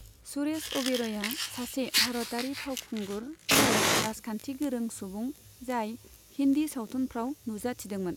सुरेश अ'बेरयआ सासे भारतारि फावखुंगुर आरो राजखान्थिगोरों सुबुं जाय हिन्दी सावथुनफ्राव नुजाथिदोंमोन।